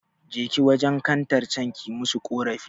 Jeki wajen kantar can ki musu ƙorafi